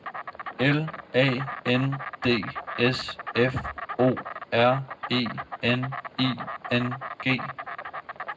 L A N D S F O R E N I N G